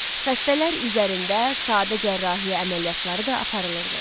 Xəstələr üzərində sadə cərrahiyyə əməliyyatları da aparılırdı.